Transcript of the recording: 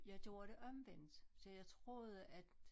Jeg gjorde det omvendt så jeg troede at